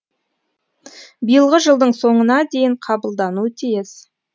биылғы жылдың соңына дейін қабылдануы тиіс